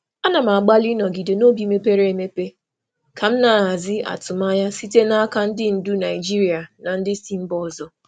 Ana m agbalị ịnọgide n'obi mepere emepe ka m na-ahazi atụmanya m na-ahazi atụmanya site n'aka ndị ndu Naịjirịa na ndị si mba ọzọ.